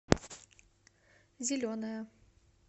зеленая